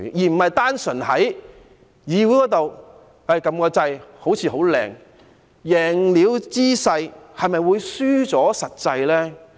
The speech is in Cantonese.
而不是單純在議會裏按一個掣，好像很美麗的圖畫，贏了姿勢，是否會輸掉實際呢？